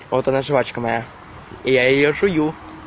вот она жвачка моя и я её жую